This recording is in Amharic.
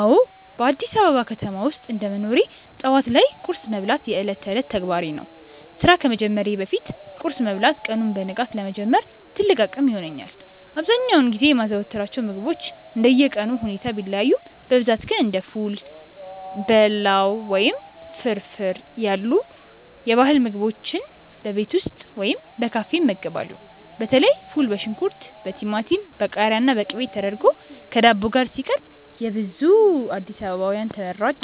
አዎ፣ በአዲስ አበባ ከተማ ውስጥ እንደ መኖሬ ጠዋት ላይ ቁርስ መብላት የዕለት ተዕለት ተግባሬ ነው። ስራ ከመጀመሬ በፊት ቁርስ መብላት ቀኑን በንቃት ለመጀመር ትልቅ አቅም ይሆነኛል። አብዛኛውን ጊዜ የማዘወትራቸው ምግቦች እንደየቀኑ ሁኔታ ቢለያዩም፣ በብዛት ግን እንደ ፉል፣ በላው ወይም ፍርፍር ያሉ የባህል ምግቦችን በቤት ውስጥ ወይም በካፌዎች እመገባለሁ። በተለይ ፉል በሽንኩርት፣ በቲማቲም፣ በቃሪያና በቅቤ ተደርጎ ከዳቦ ጋር ሲቀርብ የብዙ አዲስ አበባውያን ተመራጭ